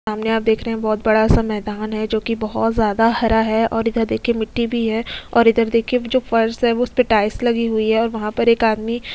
सामने आप देख रहे हैं बहोत बड़ा सा मैदान है जोकि बहोत ज्यादा हरा है और इधर देखिए मिट्टी भी है और इधर देखिए जो फर्श है उस पर टाइल्स लगी हुई है और वहां पर एक आदमी --